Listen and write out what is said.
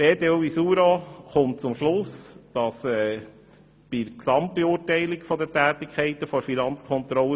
Die BDO Visura kommt zu einer positiven Gesamtbeurteilung der Tätigkeit der Finanzkontrolle.